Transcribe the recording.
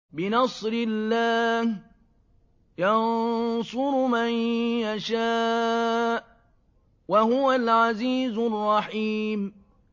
بِنَصْرِ اللَّهِ ۚ يَنصُرُ مَن يَشَاءُ ۖ وَهُوَ الْعَزِيزُ الرَّحِيمُ